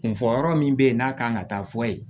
Kunfɔyɔrɔ min bɛ yen n'a kan ka taa fɔ a ye